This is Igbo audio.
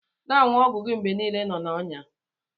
Na anyu ogwụ gi mgbe nile inọ na ọya.